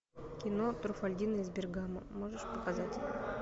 кино труффальдино из бергамо можешь показать